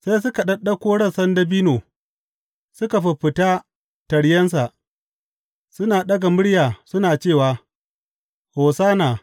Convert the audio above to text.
Sai suka ɗaɗɗauko rassan dabino suka fiffita taryensa, suna ɗaga murya suna cewa, Hosanna!